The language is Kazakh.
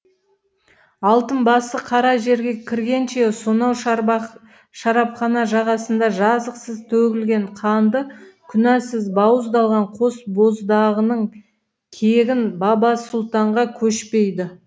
алтын басы қара жерге кіргенше сонау шарабхана жағасында жазықсыз төгілген қанды күнәсіз бауыздалған қос боздағының кегін бабасұлтанға кешпейді